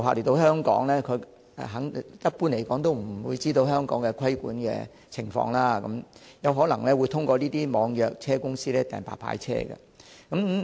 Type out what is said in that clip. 訪港旅客一般都不知道香港的規管情況，因而有可能會透過這些網約公司預約白牌車。